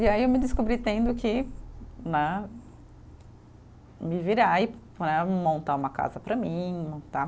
E aí eu me descobri tendo que né, me virar e né, montar uma casa para mim, montar